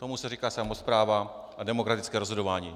Tomu se říká samospráva a demokratické rozhodování.